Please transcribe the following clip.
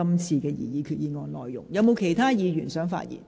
是否有其他議員想發言？